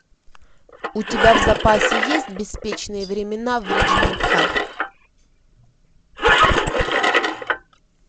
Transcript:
у тебя в запасе есть беспечные времена в риджмонт хай